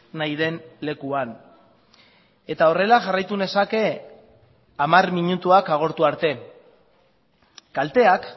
nahi den lekuan eta horrela jarraitu nezake hamar minutuak agortu arte kalteak